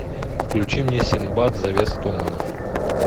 включи мне синбад завеса туманов